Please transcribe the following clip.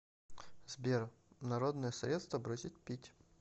сбер народные средства бросить пить